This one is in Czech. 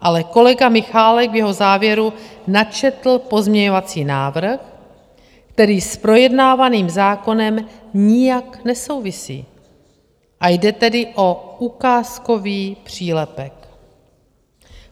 Ale kolega Michálek v jeho závěru načetl pozměňovací návrh, který s projednávaným zákonem nijak nesouvisí, a jde tedy o ukázkový přílepek.